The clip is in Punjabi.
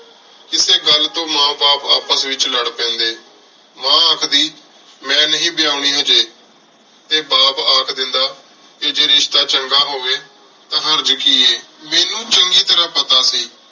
ਕੀਤੀ ਗਲ ਤੋ ਮਾਂ ਬਾਪ ਆਪਸ ਏਚ ਲਾਰ ਪੇੰਡੀ ਮਾਂ ਆਖਦੀ ਮੇਨ ਨਹੀ ਵਾਯਾਨੀ ਹਾਜੀ ਟੀ ਬਾਪ ਅਖ ਦੇਂਦਾ ਜੇ ਰਿਸ਼ਤਾ ਚੰਗਾ ਹੋਵੀ ਟੀ ਹਰਜ ਕੀ ਆਯ ਮੇਨੂ ਚੰਗੀ ਤਰ੍ਹਾ ਪਤਾ ਸੀ